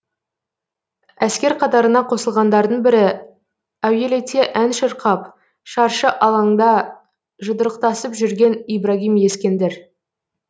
әскер қатарына қосылғандардың бірі әуелете ән шырқап шаршы алаңда жұдырықтасып жүрген ибрагим ескендір